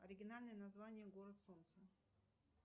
оригинальное название город солнца